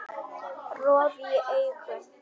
Roði í augum